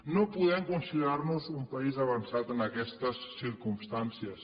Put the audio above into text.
no podem considerar nos un país avançat en aquestes circumstàncies